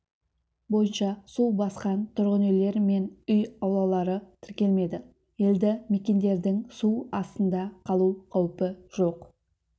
бойынша су басқан тұрғын-үйлер мен үй аулалары тіркелмеді елді мекендердің су астында қалу қаупі жоқ